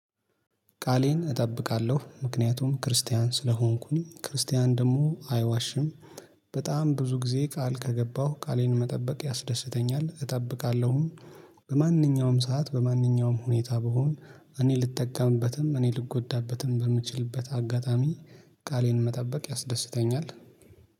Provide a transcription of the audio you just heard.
ቃሌን እጠብቃለሁ ምክንያቱም ክርስቲያን ስለሆንኩኝ ክርስቲያን ደግሞ አይዋሽም። በጣም ብዙ ጊዜ ቃል ከገባሁ ቃሌን መጠበቅ ያስደስተኛል እጠብቃለሁም። በማንኛውም ሰዓት በማንኛውም ሁኔታ ብሆን እኔ ልጠቀምበትም እኔ ልጎዳበትም በምችልበት አጋጣሚ። ቃሌን መጠበቅ ያስደስተኛል